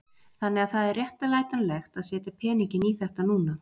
Þannig að það er réttlætanlegt að setja peninginn í þetta núna?